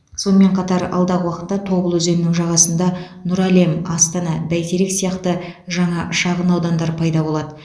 сонымен қатар алдағы уақытта тобыл өзенінің жағасында нұр әлем астана бәйтерек сияқты жаңа шағын аудандар пайда болады